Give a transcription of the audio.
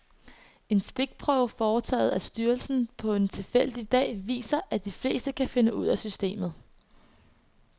En stikprøve foretaget af styrelsen på en tilfældig dag viser, at de fleste kan finde ud af systemet.